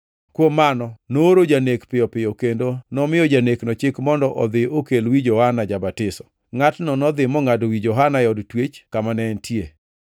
Kuom mano nooro janek piyo piyo kendo nomiyo janekno chik mondo odhi okelne wi Johana Ja-batiso. Ngʼatno nodhi mongʼado wi Johana e od twech kama ne entie,